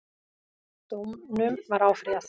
Dómunum var áfrýjað